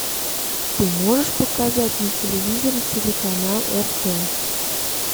ты можешь показать на телевизоре телеканал рт